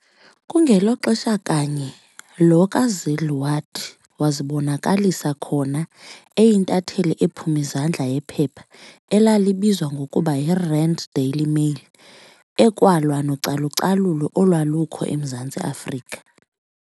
Kungelo xesha kanye lo kaZille wathi wazibonakalisa khona, eyintatheli ephum'izandla yephepha elalibizwa ngokuba yi-Rand Daily mail, ekwalwa nocalu-calulo olwalukho emZantsi Afrika.